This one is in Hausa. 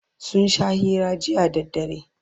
sun Sha hira jiya da dare